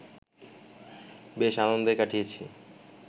বেশ আনন্দে কাটিয়েছি